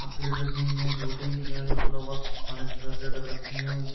Cup plate रखी हुई है जूठी जिन्होंने खाना लग रखी हैं।